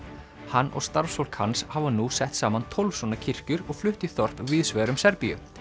hann og starfsfólk hans hafa nú sett saman tólf svona kirkjur og flutt í þorp víðsvegar um Serbíu